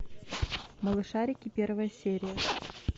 малышарики первая серия